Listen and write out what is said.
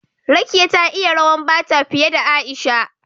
Rekiya ta iya rawan Bata fiye da Aisha